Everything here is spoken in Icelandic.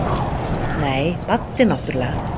Nei, Baddi náttúrlega.